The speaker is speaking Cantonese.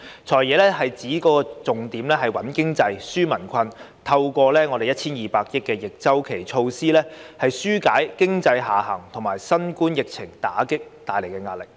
"財爺"指預算案的重點是穩經濟、紓民困，透過 1,200 億元的逆周期措施，紓解經濟下行及新冠疫情打擊帶來的壓力。